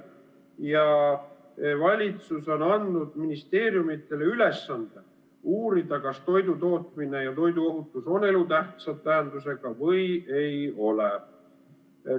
Ja valitsus on andnud ministeeriumile ülesande uurida, kas toidutootmine ja toiduohutus on elutähtsa tähendusega või ei ole.